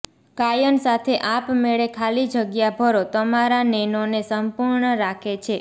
ગાયન સાથે આપમેળે ખાલી જગ્યા ભરો તમારા નેનોને સંપૂર્ણ રાખે છે